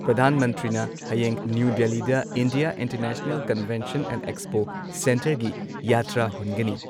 ꯄ꯭ꯔꯙꯥꯟ ꯃꯟꯇ꯭ꯔꯤꯅ ꯍꯌꯦꯡ ꯅ꯭ꯌꯨ ꯗꯦꯜꯂꯤꯗ India international convention and expo ꯁꯦꯟꯇꯔꯒꯤ ꯌꯥꯇ꯭ꯔꯥ ꯍꯨꯟꯒꯅꯤ ꯫